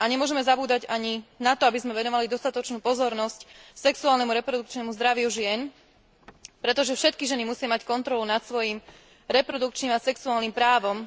Nemôžeme zabúdať ani na to, aby sme venovali dostatočnú pozornosť sexuálnemu reprodukčnému zdraviu žien, pretože všetky ženy musia mať kontrolu nad svojim reprodukčným a sexuálnym právom.